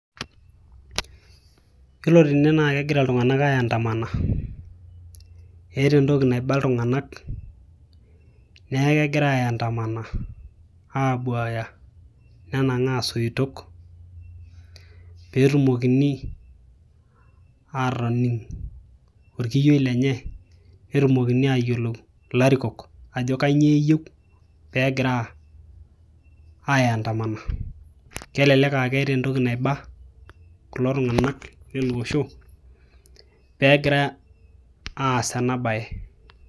yiolo tene naa kegira iltung'anak ae andamana eeta entoki naiba iltung'anak neeku kegira ae andamana abuaya nenang'aa isoitok peetumokini aatoning orkiyioi lenye netumokini ayiolou ilarikok ajo kanyio eyieu peegira ae andamana kelelek aa keeta embaye naiba kulo tung'anak lele osho peegira aas ena baye.